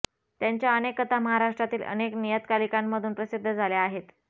त्यांच्या अनेक कथा महाराष्ट्रातील अनेक नियतकालिकांमधून प्रसिद्ध झाल्या आहेत